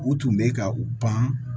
U tun bɛ ka u pan